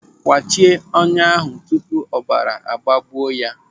Kwachie ọnyá ahụ tupu ọbara agbagbuo ya!